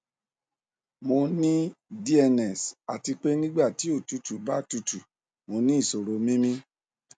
mo ní dns àti pé nígbà tí òtútù bá tutù mo ní ìṣòro mímí